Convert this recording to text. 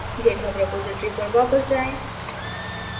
github repository पर वापस जाएँ